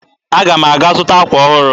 Aga m aga zụta akwa ọhụrụ